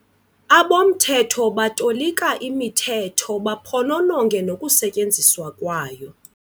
Abomthetho batolikaimithetho baphonononge nokusetyenziswa kwayo.